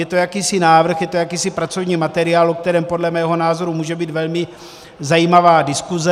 Je to jakýsi návrh, je to jakýsi pracovní materiál, o kterém podle mého názoru může být velmi zajímavá diskuse.